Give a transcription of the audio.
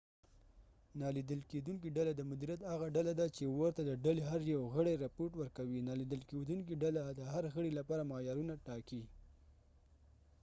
نالیدل کېدونکې ډله د مدیریت هغه ډله ده چې ورته د ډلې هر یو غړی رپوټ ورکوي نالیدل کېدونکې ډله د هر غړي لپاره معیارونه ټاکي